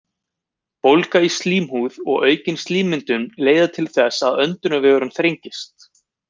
Bólga í slímhúð og aukin slímmyndun leiða til þess að öndunarvegurinn þrengist.